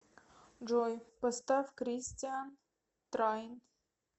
джой поставь кристиан трайн